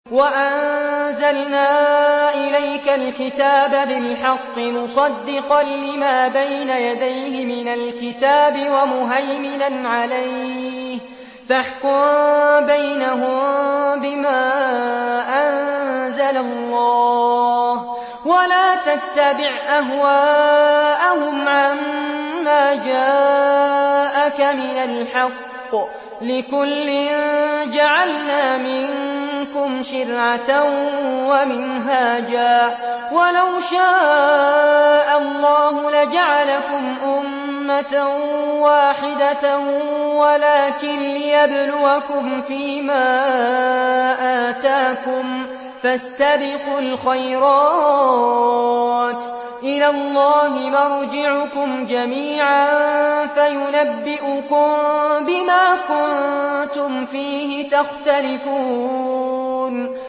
وَأَنزَلْنَا إِلَيْكَ الْكِتَابَ بِالْحَقِّ مُصَدِّقًا لِّمَا بَيْنَ يَدَيْهِ مِنَ الْكِتَابِ وَمُهَيْمِنًا عَلَيْهِ ۖ فَاحْكُم بَيْنَهُم بِمَا أَنزَلَ اللَّهُ ۖ وَلَا تَتَّبِعْ أَهْوَاءَهُمْ عَمَّا جَاءَكَ مِنَ الْحَقِّ ۚ لِكُلٍّ جَعَلْنَا مِنكُمْ شِرْعَةً وَمِنْهَاجًا ۚ وَلَوْ شَاءَ اللَّهُ لَجَعَلَكُمْ أُمَّةً وَاحِدَةً وَلَٰكِن لِّيَبْلُوَكُمْ فِي مَا آتَاكُمْ ۖ فَاسْتَبِقُوا الْخَيْرَاتِ ۚ إِلَى اللَّهِ مَرْجِعُكُمْ جَمِيعًا فَيُنَبِّئُكُم بِمَا كُنتُمْ فِيهِ تَخْتَلِفُونَ